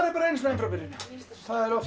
bara einu sinni enn frá byrjun það er oft